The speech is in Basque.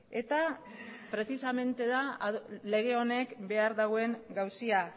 eta prezisamente da lege honek behar duen gauza